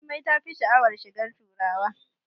Jummai tafi sha'awar shigar turawa